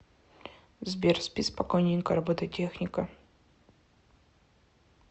сбер спи спокойненько робототехника